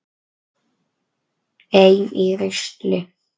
Ein í rusli.